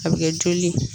A bɛ kɛ joli ye